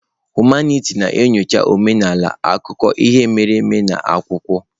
Humanitị na-enyocha omenala, akụkọ ihe mere eme na akwụkwọ.